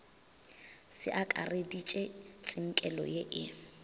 se akareditpe tsinkelo ye e